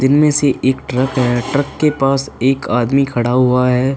इनमें से एक ट्रक है। ट्रक के पास एक आदमी खड़ा हुआ है।